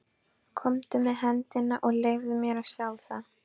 Komdu með hendina og leyfðu mér að sjá það.